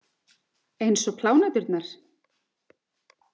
Eins og pláneturnar?